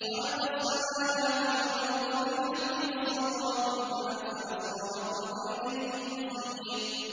خَلَقَ السَّمَاوَاتِ وَالْأَرْضَ بِالْحَقِّ وَصَوَّرَكُمْ فَأَحْسَنَ صُوَرَكُمْ ۖ وَإِلَيْهِ الْمَصِيرُ